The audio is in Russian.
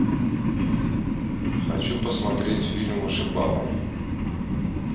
хочу посмотреть фильм вышибала